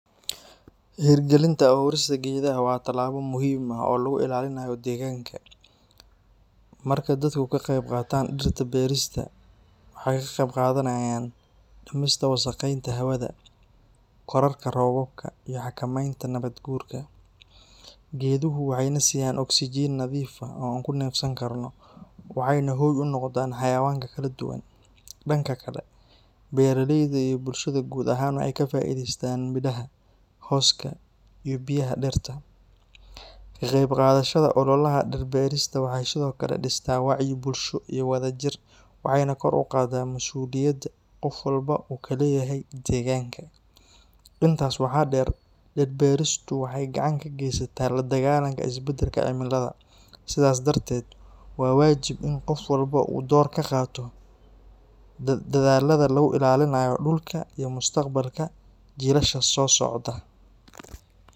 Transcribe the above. Hirgelinta abuurista geedaha waa tallaabo muhiim ah oo lagu ilaalinayo deegaanka. Marka dadku ka qayb qaataan dhirta beerista, waxay ka qayb qaadanayaan dhimista wasakheynta hawada, kororka roobabka, iyo xakamaynta nabaad guurka. Geeduhu waxay na siinayaan oksijiin nadiif ah oo aan ku neefsan karno, waxayna hoy u noqdaan xayawaanka kala duwan. Dhanka kale, beeralayda iyo bulshada guud ahaan waxay ka faa'iidaystaan midhaha, hooska, iyo biyaha dhirta. Ka qaybqaadashada ololaha dhir beerista waxay sidoo kale dhistaa wacyi bulsho iyo wadajir, waxayna kor u qaadaa mas’uuliyadda qof walba uu ka leeyahay deegaanka. Intaas waxaa dheer, dhir beeristu waxay gacan ka geysataa la dagaalanka isbedelka cimilada. Sidaas darteed, waa waajib in qof walba uu door ka qaato dadaallada lagu ilaalinayo dhulka iyo mustaqbalka jiilasha soo socda.